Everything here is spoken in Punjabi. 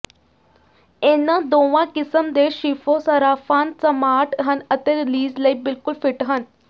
ਇਨ੍ਹਾਂ ਦੋਵਾਂ ਕਿਸਮ ਦੇ ਸ਼ਿਫੋਂ ਸਰਾਫਾਨ ਸਮਾਰਟ ਹਨ ਅਤੇ ਰਿਲੀਜ ਲਈ ਬਿਲਕੁਲ ਫਿੱਟ ਹਨ